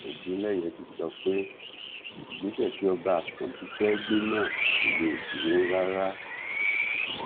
ogunléyé ti sọ pé ìgbésẹ tí ọba àkànbí fẹẹ gbé náà kò lè dúró rárá